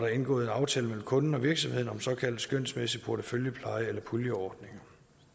er indgået en aftale mellem kunden og virksomheden om såkaldt skønsmæssig porteføljepleje eller puljeordning